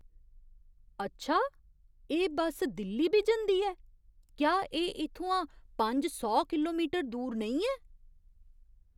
अच्छा! एह् बस दिल्ली बी जंदी ऐ? क्या एह् इत्थुआं पंज सौ किलोमीटर दूर नेईं ऐ?